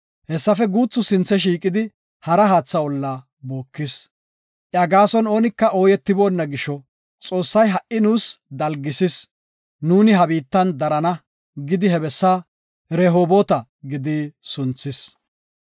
Hessafe guuthi sinthe shiiqidi hara haatha olla bookisis. Iya gaason oonika ooyetiboonna gisho, “Xoossay ha7i nuus dalgisis nuuni ha biittan darana” gidi he bessa Rehoboota gidi sunthis.